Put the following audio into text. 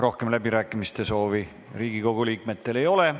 Rohkem läbirääkimiste soovi Riigikogu liikmetel ei ole.